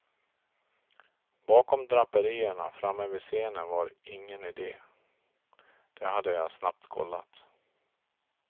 Bakom draperierna framme vid scenen var ingen idé, det hade jag snabbt kollat.